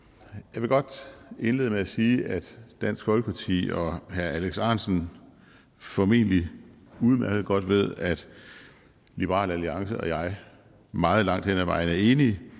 jeg vil godt indlede med at sige at dansk folkeparti og herre alex ahrendtsen formentlig udmærket godt ved at liberal alliance og jeg meget langt hen ad vejen er enige